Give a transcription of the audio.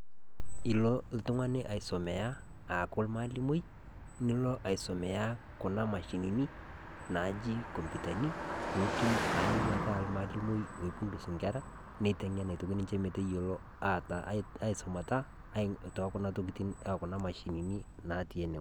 Elo oltung'ani aisumiya aaku ormalimui Nilo aisumiya Kuna mashinini, naaji computani pee etum ayeu ataa ormalimui oisum enkera neiteng'eni ninche metayiolo aisumata too Kuna mashinini naati ene weuji.